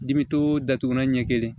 Dimi to datugulan ɲɛ kelen